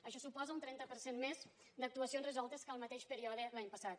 això suposa un trenta per cent més d’actuacions resoltes que el mateix període l’any passat